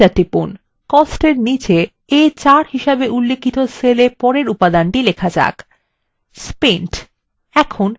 costsএর নীচে a4 হিসাবে উল্লিখিত cellএ পরের উপাদানটি লিখুনspent